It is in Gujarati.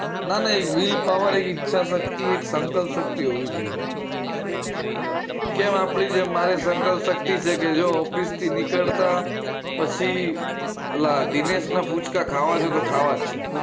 ના ના will power ઈચ્છા શક્તિ એક સંકલ્પ શક્તિ હોવી જોઈએ હ કેમ આપણે મારે સંકલ્પ શક્તિ છે કે જો office થી નીકળતા પછી ઓલા દિનેશ ના ગુજકા ખાવા છે તો ખાવા છે